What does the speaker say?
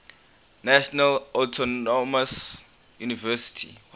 national autonomous university